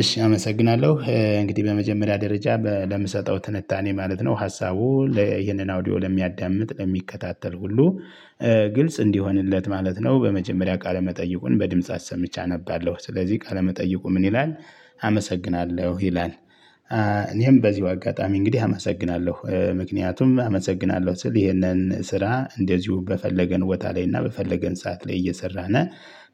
እሺ አመሰግናለሁ እንግዲህ በመጀመሪያ ደረጃ ለምሰጠው ትንታኔ ማለት ነው። ሀሳቡ ይሄንን አውዲዮ ለሚያዳምጥ ለሚከታተል ሁሉ ግልጽ እንዲሆንለት ማለት ነው። በመጀመሪያ ቃለ መጠይቁን በድምጽ አሰምቼ ሰምቼ አነባለሁ። ስለዚህ ቀለመጠይቁ ምን ይላል? አመሰግናለሁ ይላል። እኔም በዚሁ አጋጣሚ እንግዲህ አመሰግናለሁ ምክንያቱም አመሰግናለሁ ስል ይሄንን ስራ እንደዚሁ በፈለገን ቦታ ላይ እና በፈለገን ሰዓት ላይ እየሰራን።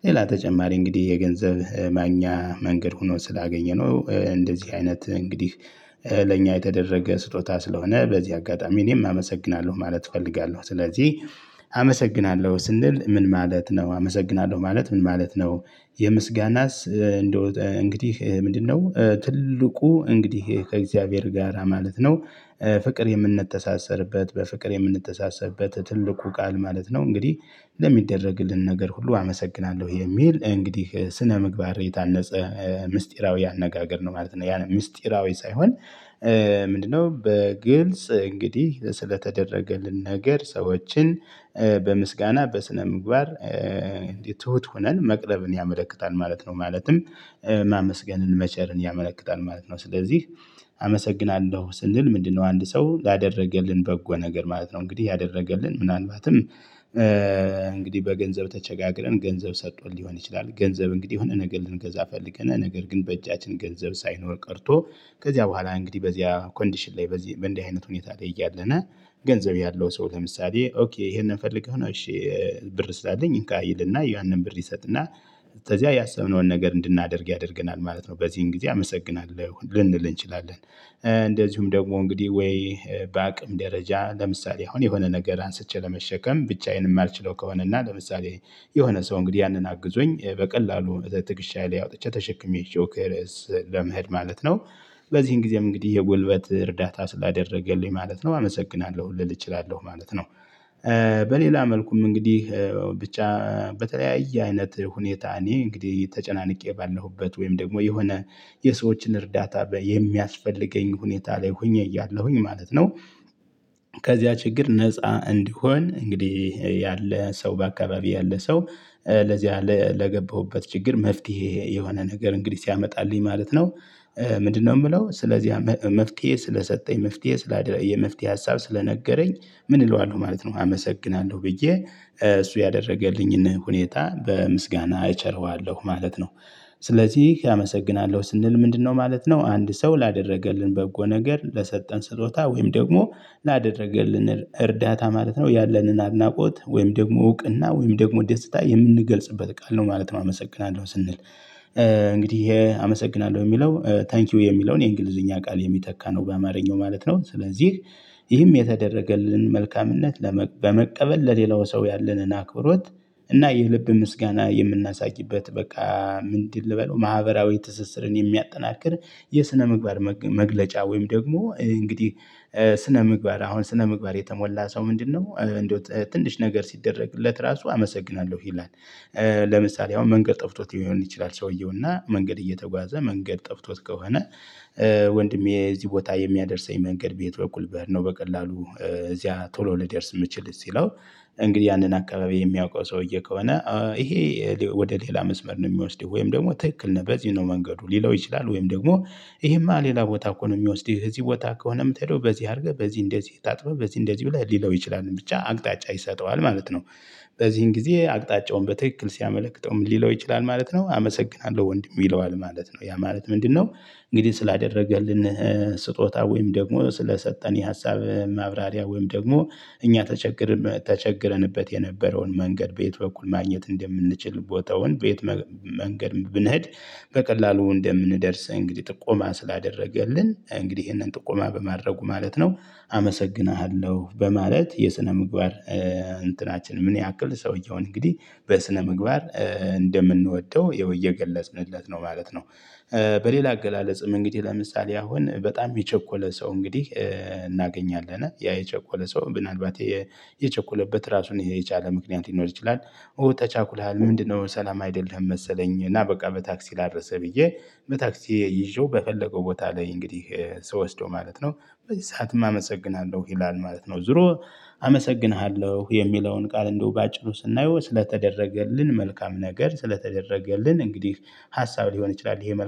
ሌላ ተጨማሪ እንግዲህ የገንዘብ ማግኛ መንገድ ሆኖ ስላገኘነው እንደዚህ አይነት እንግዲህ። ለእኛ የተደረገ ስጦታ ስለሆነ በዚህ አጋጣሚ እኔም አመሰግናለሁ ማለት እፈልጋለሁ። ስለዚህ አመሰግናለሁ ስንል ምን ማለት ነው? አመሰግናለሁ ማለት ምን ማለት ነው? የምስጋናስ እንግዲህ ምንድነው? ትልቁ እንግዲህ ከእግዚአብሔር ጋራ ማለት ነው። ፍቅር የምንተሳሰርበት በፍቅር የምንተሳሰርበት ትልቁ ቃል ማለት ነው። እንግዲህ ለሚደረግልን ነገር ሁሉ አመሰግናለሁ የሚል እንግዲህ ስነምግባር የታነጸ ምስጢራዊ አነጋገር ነው ማለት ነው። ያን ምስጢራዊ ሳይሆን ምንድነው? በግልጽ እንግዲህ ስለተደረገልን ነገር ሰዎችን በምስጋና በስነ ምግባር ትሁት ሁነን መቅረብን ያመለክታል ማለት ነው። ማለትም ማመስገንን መቸርን ያመለክታል ማለት ነው። ስለዚህ አመሰግናለሁ ስንል ምንድነው? አንድ ሰው ላደረገልን በጎ ነገር ማለት ነው። እንግዲህ ያደረገልን ምናልባትም እንግዲህ በገንዘብ ተቸጋግረን ገንዘብ ሰጥቶን ሊሆን ይችላል። ገንዘብ እንግዲህ የሆነ ነገር ልንገዛ ፈልገን ነገር ግን በእጃችን ገንዘብ ሳይኖር ቀርቶ። ከዚያ በኋላ እንግዲህ በዚያ ኮንዲሽን ላይ በዚህ በእንዲህ አይነት ሁኔታ ላይ እያለን። ገንዘብ ያለው ሰው ለምሳሌ ኦኬ ይሄንን ፈልገህ ነው? እሺ። ብር ስላለኝ እንካ ይልና ያንን ብር ይሰጥና። ተዚያ ያሰብነውን ነገር እንድናደርግ ያደርገናል ማለት ነው። በዚህን ጊዜ አመሰግናለሁ ልንል እንችላለን። እንደዚሁም ደግሞ እንግዲህ ወይ። በአቅም ደረጃ ለምሳሌ አሁን የሆነ ነገር አንስቼ ለመሸከም ብቻዬንም የማልችለው ከሆነ እና ለምሳሌ የሆነ ሰው እንግዲህ ያንን አግዞኝ በቀላሉ ትከሻዬ ላይ አውጥቼ ተሸክሜ ለመሄድ ማለት ነው። ለዚህም ጊዜም እንግዲህ የጉልበት እርዳታ ስላደረገልኝ ማለት ነው አመሰግናለሁ ልል እችላለሁ ማለት ነው። በሌላ መልኩም እንግዲህ ብቻ በተለያየ አይነት ሁኔታ እኔ እንግዲህ ተጨናንቄ ባለሁበት ወይም ደግሞ የሆነ የሰዎችን እርዳታ የሚያስፈልገኝ ሁኔታ ላይ ሆኜ እያለሁኝ ማለት ነው። ከዚያ ችግር ነፃ እንድሆን እንግዲህ ያለ ሰው በአካባቢ ያለ ሰው ለዚያ ለገባሁበት ችግር መፍትሄ የሆነ ነገር እንግዲህ ሲያመጣልኝ ማለት ነው። ምንድነው? የምለው ስለዚህ መፍትሄ ስለሰጠኝ መፍትሄ የመፍትሄ ሀሳብ ስለነገረኝ ምን እለዋለሁ ማለት ነው። አመሰግናለሁ ብዬ እሱ ያደረገልኝን ሁኔታ በምስጋና እቸርዋለሁ ማለት ነው። ስለዚህ አመሰግናለሁ ስንል ምንድነው? ማለት ነው? አንድ ሰው ላደረገልን በጎ ነገር ለሰጠን ስጦታ ወይም ደግሞ ላደረገልን እርዳታ ማለት ነው። ያለንን አድናቆት ወይም ደግሞ እውቅና ወይም ደግሞ ደስታ የምንገልጽበት ቃል ነው ማለት ነው። አመሰግናለሁ ስንል እንግዲህ ይሄ አመሰግናለሁ የሚለው ታንኪው የሚለውን የእንግሊዝኛ ቃል የሚተካ ነው። በአማርኛው ማለት ነው። ስለዚህ ይህም የተደረገልን መልካምነት ለመቀበል ለሌላው ሰው ያለንን አክብሮት እና የልብ ምስጋና የምናሳይበት በቃ ምንድን ልበለው ማህበራዊ ትስስርን የሚያጠናክር የስነምግባር ምግባር መግለጫ ወይም ደግሞ እንግዲህ። ስነ ምግባር አሁን ስነ ምግባር የተሞላ ሰው ምንድነው? እንደው ትንሽ ነገር ሲደረግለት ራሱ አመሰግናለሁ ይላል። ለምሳሌ አሁን መንገድ ጠፍቶት ሊሆን ይችላል። ሰውየው እና መንገድ እየተጓዘ መንገድ ጠፍቶት ከሆነ። ወንድሜ እዚህ ቦታ የሚያደርሰኝ መንገድ በየት በኩል ብሄድ ነው? በቀላሉ እዚያ ቶሎ ልደርስ የምችል ሲለው። እንግዲህ ያንን አካባቢ የሚያውቀው ሰውዬ ከሆነ ይሄ። ወደ ሌላ መስመር ነው የሚወስደው ወይም ደግሞ ትክክል ነበር በዚህ ነው መንገዱ ሊለው ይችላል ወይም ደግሞ ይሄማ ሌላ ቦታ እኮ ነው የሚወስድህ እዚህ ቦታ ከሆነ የምትሄደው በዚህ አድርገህ በዚህ እንደዚህ ታጥፈህ በዚህ እንደዚህ ብለህ ሊለው ይችላል ብቻ አቅጣጫ ይሰጠዋል ማለት ነው። በዚህን ጊዜ አቅጣጫውን በትክክል ሲያመለክተው ምን ሊለው ይችላል? ማለት ነው አመሰግናለሁ ወንድሜ ይለዋል ማለት ነው። ያ ማለት ምንድነው? እንግዲህ ስላደረገልን። ስጦታ ወይም ደግሞ ስለሰጠን የሀሳብ ማብራሪያ ወይም ደግሞ እኛ ተቸግረን ተቸግረንበት የነበረውን መንገድ በየት በኩል ማግኘት እንደምንችል ቦታውን በየት? መንገድ ብንሄድ። በቀላሉ እንደምንደርስ እንግዲህ ጥቆማ ስላደረገልን እንግዲህ ይህንን ጥቆማ በማድረጉ ማለት ነው። አመሰግንሃለሁ በማለት የስነ ምግባር። እንትናችን ምን ያክል ሰውየውን እንግዲህ በስነምግባር እንደምንወደው ያው እየገለጽንለት ነው ማለት ነው። በሌላ አገላለጽም እንግዲህ ለምሳሌ አሁን በጣም የቸኮለ ሰው እንግዲህ እናገኛለን ያ የቸኮለ ሰው ምናልባት የቸኮለበት ራሱን የቻለ ምክንያት ይኖር ይችላል። ተቻኩለሃል ምንድነው? ሰላም አይደለህም መሰለኝ? እና በቃ በታክሲ ላድረሰ ብዬ በታክሲ ይዤው በፈለገው ቦታ ላይ እንግዲህ ስወስደው ማለት ነው። በዚህ ሰዓትም አመሰግናለሁ ይላል ማለት ነው። ዙሮ አመሰግንሃለሁ የሚለውን ቃል እንደው በአጭሩ ስናየው ስለተደረገልን መልካም ነገር ስለተደረገልን እንግዲህ ሀሳብ ሊሆን ይችላል ይሄ መልካም